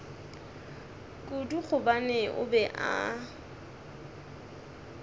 kudu gobane o be a